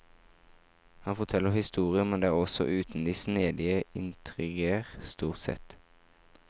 Han forteller historier, men det også uten de snedige intriger, stort sett.